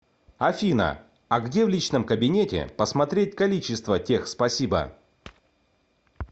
афина а где в личном кабинете посмотреть количество тех спасибо